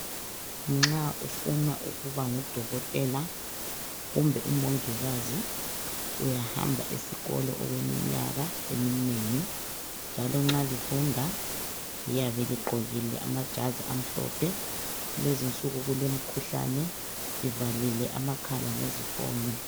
Nxa ufuna ukuba ngudokotela kumbe umongikazi. Uyahamba esikolo okweminyaka eminengi .Njalo nxa lifunda liyabe ligqokile amajazi amhlophe , lezinsuku kulemikhuhlane, livalile amakhala ngezifonyo.